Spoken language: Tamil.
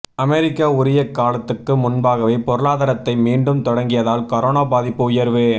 அமெரிக்கா உரிய காலத்துக்கு முன்பாகவே பொருளாதாரத்தை மீண்டும் தொடங்கியதால் கரோனா பாதிப்பு உயர்வு